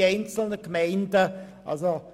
jede einzelne Gemeinde aufgelistet.